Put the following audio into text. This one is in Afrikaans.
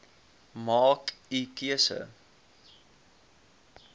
maak u keuse